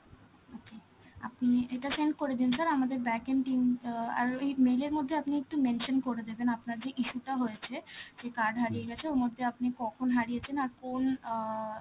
okay, আপনি এটা send করে দিন sir, আমাদের backend team, অ্যাঁ আর ওই mail এর মধ্যে আপনি একটু mention করে দেবেন, আপনার যেই issue টা হয়েছে, যে card হারিয়ে গেছে, ওর মধ্যে আপনি কখন হারিয়েছেন আর কোন অ্যাঁ